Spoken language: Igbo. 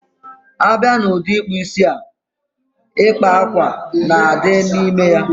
Abia n udi ikpu isi a, ịkpa ákwà na adi n ime ya